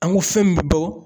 An ko fɛn min bɛ bɔ.